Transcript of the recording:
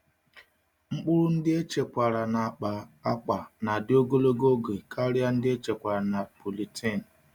Mkpụrụ ndị echekwara na akpa akwa na-adị ogologo oge karịa nke echekwara na polythene.